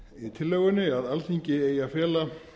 tillögunni að alþingi eigi að fela